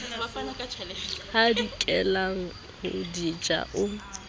hadikelang ho di ja o